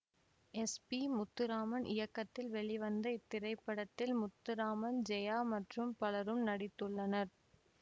S P Muthuraman இயக்கத்தில் வெளிவந்த இத்திரைப்படத்தில் முத்துராமன் ஜெயா மற்றும் பலரும் நடித்துள்ளனர்